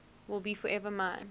will be forever mine